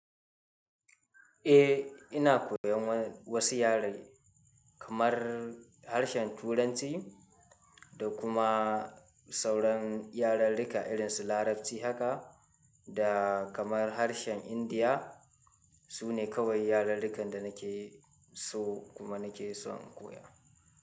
Eh, ina koyan wasu yare kamar harshen Turanci da kuma sauran yararruka irinsu Larabci haka da kamar harshen Indiya. Su ne kawai yararrukan da nake so kuma nake son koya.